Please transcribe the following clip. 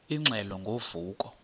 ingxelo ngo vuko